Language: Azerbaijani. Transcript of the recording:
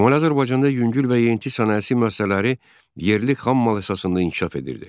Şimali Azərbaycanda yüngül və yeyinti sənayesi müəssisələri yerli xammal əsasında inkişaf edirdi.